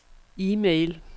e-mail